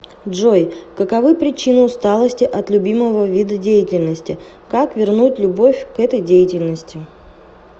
джой каковы причины усталости от любимого вида деятельности как вернуть любовь к этой деятельности